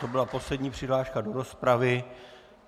To byla poslední přihláška do rozpravy.